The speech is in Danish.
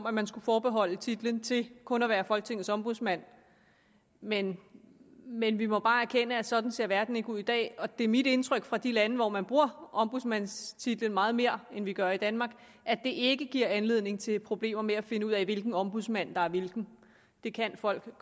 at man skulle forbeholde titlen til kun at være folketingets ombudsmand men men vi må bare erkende at sådan ser verden ikke ud i dag og det er mit indtryk fra de lande hvor man bruger ombudsmandstitlen meget mere end vi gør i danmark at det ikke giver anledning til problemer med at finde ud af hvilken ombudsmand der er hvilken det kan folk